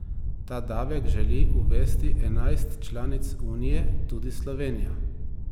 Ta davek želi uvesti enajst članic unije, tudi Slovenija.